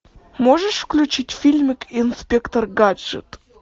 можешь включить фильмик инспектор гаджет